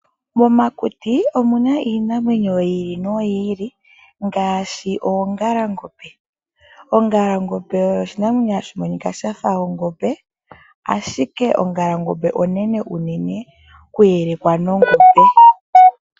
Momakuti omuna iinamwenyo yi ili noyi ili ngaashi oongalangombe. Ongalangombe oyo oshinamwenyo shoka hashi monika shafa ongombe ashike ongalangombe oshinamwenyo oshinene noku elekwa nongombe.